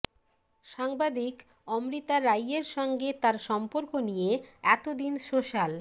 সাংবাদিক অমৃতা রাইয়ের সঙ্গে তাঁর সম্পর্ক নিয়ে এত দিন সোশ্যাল